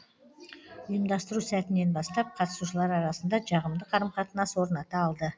ұйымдастыру сәтінен бастап қатысушылар арасында жағымды қарым қатынас орната алды